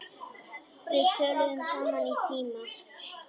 Við töluðum saman í síma.